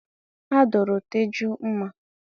A duru Teju mma.